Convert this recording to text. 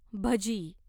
भजी